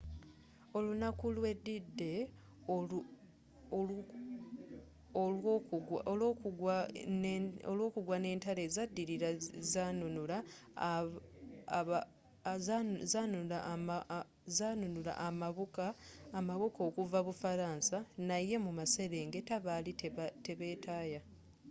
olunaku lwe d-day olwokugwa n'entalo ezaddirira zanunula amabuka okuva bufaransa naye mu maserengeta baali tebetaaya